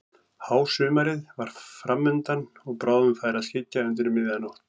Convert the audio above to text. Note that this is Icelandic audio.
Hásumarið var fram undan og bráðum færi að skyggja undir miðja nótt.